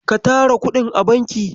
Ka tara kuɗin a banki.